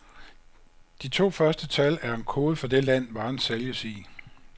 De to første tal er en kode for det land, varen sælges i.